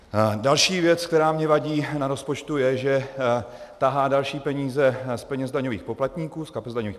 Další věc, která mi vadí na rozpočtu, je, že tahá další peníze z kapes daňových poplatníků.